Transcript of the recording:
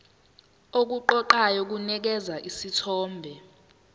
okuqoqayo kunikeza isithombe